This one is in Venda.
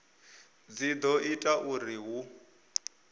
dzi do ita uri hu